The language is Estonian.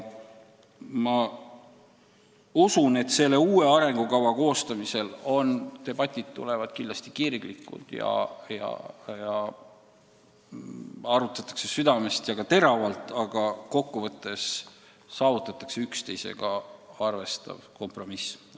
Ma usun, et uue arengukava koostamisel seisavad ees kirglikud debatid, asju arutatakse südamest ja ka teravalt, aga kokkuvõttes saavutatakse üksteisega arvestav kompromiss.